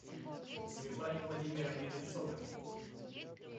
светлане владимировне одинцовой